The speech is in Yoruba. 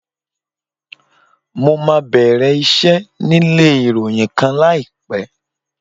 Mo máa bẹ̀rẹ̀ iṣẹ́ nílé ìròyìn kan láìpẹ́.